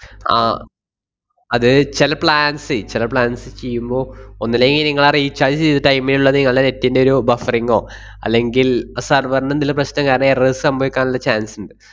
ആഹ് അത് ചെല plans ഏ ചെല plans ചെയ്യുമ്പോ ഒന്നല്ലെങ്കി നിങ്ങള് ആ recharge ചെയ്‌ത time ലൊള്ള നിങ്ങളുടെ net ന്‍റെയൊരു buffering ഓ അല്ലെങ്കിൽ ആ server ന് എന്തേലും പ്രശ്‌നം കാരണം errors സംഭവിക്കാനുള്ള chance ~ണ്ട്.